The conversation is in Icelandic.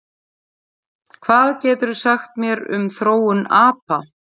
Hvað geturðu sagt mér um þróun apa?